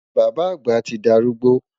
Bàbá àgbà ti dárúgbó